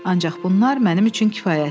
Ancaq bunlar mənim üçün kifayətdir.